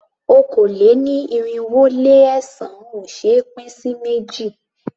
Okòó-lé-ní-irinwó-lé-ẹ̀sán ò ṣé é pín sí méjì.